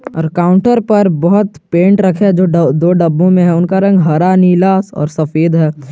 और काउंटर पर बहौत पेंट रखे है जो दो डब्बों में है उनका रंग हरा नीला और सफेद है।